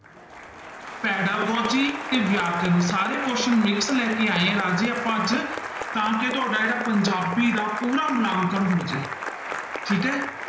Pedagogy ਤੇ ਵਿਆਕਰਨ ਸਾਰੇ question mix ਲੈ ਕੇ ਆਏ ਹਾਂ ਰਾਜੇ ਆਪਾਂ ਅੱਜ ਤਾਂ ਕਿ ਤੁਹਾਡਾ ਜਿਹੜਾ ਪੰਜਾਬੀ ਦਾ ਪੂਰਾ ਮੁਲਾਂਕਣ ਹੋ ਜਾਏ, ਠੀਕ ਹੈ।